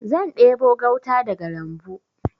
Zan ɗebo gauta daga lambu.